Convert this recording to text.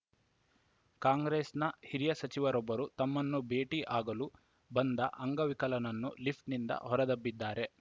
ಕಾಂಗ್ರೆಸ್‌ನ ಹಿರಿಯ ಸಚಿವರೊಬ್ಬರು ತಮ್ಮನ್ನು ಭೇಟಿ ಆಗಲು ಬಂದ ಅಂಗವಿಕಲನನ್ನು ಲಿಫ್ಟ್‌ನಿಂದ ಹೊರದಬ್ಬಿದ್ದಾರೆ